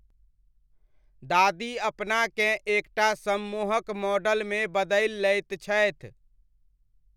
दादी अपनाकेँ एक टा सम्मोहक मॉडलमे बदलि लैत छथि ।